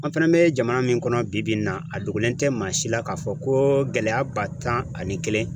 An fana bɛ jamana min kɔnɔ bi bi in na a dogolen tɛ maa si la k'a fɔ ko gɛlɛya ba tan ani kelen